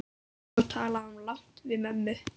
Svo talaði hún lágt við mömmu.